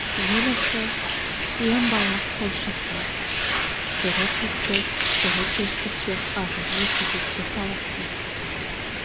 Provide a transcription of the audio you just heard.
ел іші ен байлық қой шіркін бірі түстік бірі кештік деп ағайын кезекке талассын